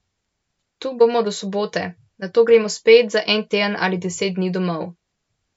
Tu bomo do sobote, nato gremo spet za en teden ali deset dni domov.